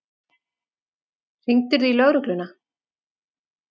Hringdirðu í lögregluna?